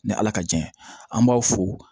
Ni ala ka jan ye an b'aw fo